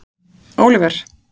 Oliver